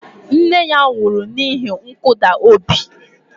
Nne ya nwụrụ n'ihi nkụda obi